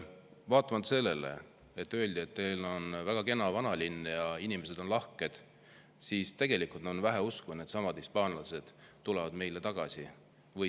Vaatamata sellele, et öeldi, et meil on väga kena vanalinn ja inimesed on lahked, on tegelikult vähe usku, et needsamad hispaanlased siia tagasi tulevad.